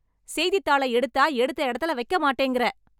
செய்தித்தாள எடுத்தா எடுத்த எடத்துல வைக்க மாட்டேங்கற.